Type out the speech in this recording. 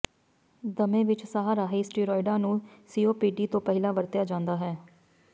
ਦਮੇ ਵਿੱਚ ਸਾਹ ਰਾਹੀਂ ਸਟੀਰੌਇਡਾਂ ਨੂੰ ਸੀਓਪੀਡੀ ਤੋਂ ਪਹਿਲਾਂ ਵਰਤਿਆ ਜਾਂਦਾ ਹੈ